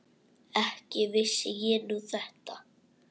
Ekki vissi ég nú þetta.